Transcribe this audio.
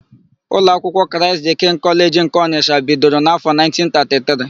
Ụlọ akwụkwọ Kraịst dịị kịngị Kọleji nke Ọnịsha bidoro n'áfọ̀ 1933.